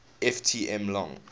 ft m long